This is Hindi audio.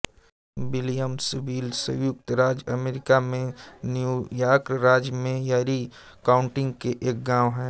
विलियम्सविल संयुक्त राज्य अमेरिका में न्यूयॉर्क राज्य में एरी काउंटी के एक गांव है